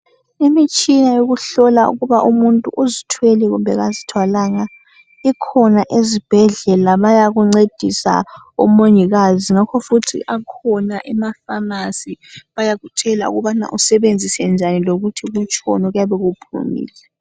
Imitshina yokuhlola ukuba umuntu uzithwele kumbe kazithwalanga ikhona ezibhedlela bayakuncedisa omongikazi ngakho futhi akhona emaphamarcy bayakutshela ukubana usebenzise njani lokuthi kutshoni okuyabe kuphumile